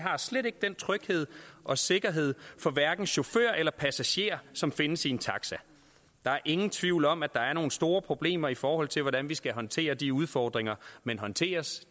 er slet ikke den tryghed og sikkerhed for hverken chauffør eller passagerer som findes i en taxa der er ingen tvivl om at der er nogle store problemer i forhold til hvordan vi skal håndtere de udfordringer men håndteres